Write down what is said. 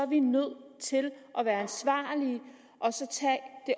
vi nødt til at være ansvarlige